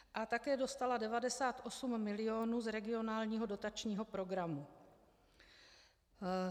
A také dostala 98 mil. z regionálního dotačního programu.